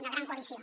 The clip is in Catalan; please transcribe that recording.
una gran coalició